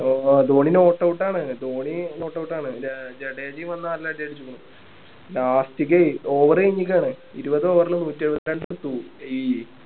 Dhoni not out ആണ് Dhoni not out ആണ് അഹ് ജഡേജയും വന്ന് നല്ല അടി അടിച്ചേക്ക്ണു last ക്കേ over കഴിഞ്ഞേക്കുവാണ് ഇരുപത് over ല് നൂറ്റിഎഴുപത്തിനാല് runs എടുത്തു